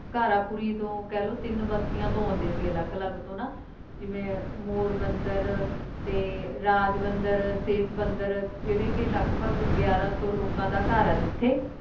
ਘਾਰਾਪੁਰੀ ਨੂੰ ਕਹਿਲੋ ਤਿੰਨ ਬਸਤੀਆਂ ਤੋਂ ਆਉਂਦੇ ਸੀ ਅਲੱਗ ਅਲੱਗ ਤੋਂ ਨਾ ਜਿਵੇਂ ਮੋਰਬੰਦਰ ਤੇ ਰਾਜਬੰਦਰ, ਸੇਤਬੰਦਰ ਜਿਹੜੇ ਕੇ ਲਗਭਗ ਗਿਆਰਾਂ ਸੌ ਲੋਕਾਂ ਦਾ ਘਰ ਆ ਜਿੱਥੇ